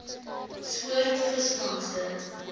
soort visvangste